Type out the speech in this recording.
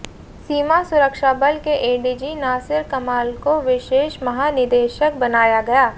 सीमा सुरक्षाबल के एडीजी नासिर कमाल को विशेष महानिदेशक बनाया गया